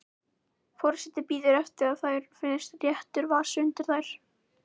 Forseti bíður eftir að það finnist réttur vasi undir þær.